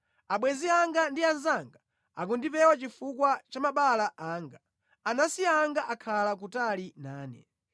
Abwenzi anga ndi anzanga akundipewa chifukwa cha mabala anga; anansi anga akhala kutali nane.